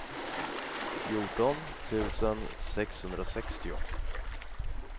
fjorton tusen sexhundrasextio